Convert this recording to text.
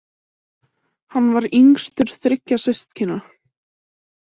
Hann var yngstur þriggja systkina.